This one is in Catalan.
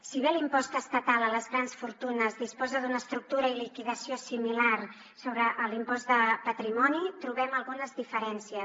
si bé l’impost estatal a les grans fortunes disposa d’una estructura i liquidació similar sobre l’impost de patrimoni trobem algunes diferències